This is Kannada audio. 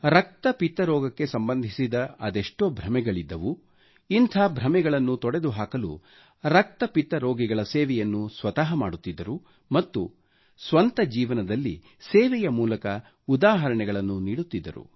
ರಕ್ತ ಪಿತ್ತ ರೋಗಕ್ಕೆ ಸಂಬಂಧಿಸಿದ ಅದೆಷ್ಟೋ ಭ್ರಮೆಗಳಿದ್ದವು ಇಂಥ ಭ್ರಮೆಗಳನ್ನು ತೊಡೆದು ಹಾಕಲು ರಕ್ತ ಪಿತ್ತ ರೋಗಿಗಳ ಸೇವೆಯನ್ನು ಸ್ವತಃ ಮಾಡುತ್ತಿದ್ದರು ಮತ್ತು ಸ್ವಂತ ಜೀವನದಲ್ಲಿ ಸೇವೆಯ ಮೂಲಕ ಉದಾಹರಣೆಗಳನ್ನು ನೀಡುತ್ತಿದ್ದರು